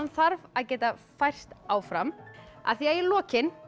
þarf að geta færst áfram af því í lokin